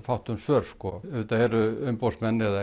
fátt um svör en auðvitað eru umboðsmenn eða